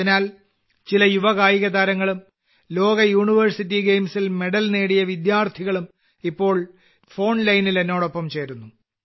അതിനാൽ ചില യുവകായികതാരങ്ങളും ലോകയൂണിവേഴ്സിറ്റി ഗെയിംസിൽ മെഡൽ നേടിയ വിദ്യാർത്ഥികളും ഇപ്പോൾ ഫോൺ ലൈനിൽ എന്നോടൊപ്പം ചേരുന്നു